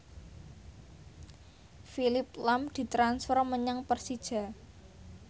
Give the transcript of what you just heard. Phillip lahm ditransfer menyang Persija